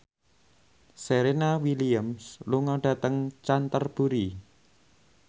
Serena Williams lunga dhateng Canterbury